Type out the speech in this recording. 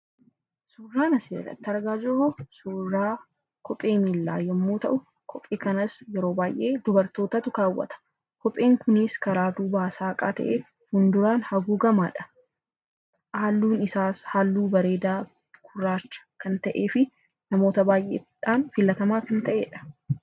Suuraan asirratti argaa jirru suuraa kophee miilaa yommuu ta'u, kanas yeroo baay'ee dubartootatu kaawwata. Innis karaa duubaa saaqaa ta'ee karaa fuulduraa haguugamaadha. Halluun isaas halluu bareedaa gurraacha kan ta'ee fi namoota hedduudhaan filatamaa kan ta'edha.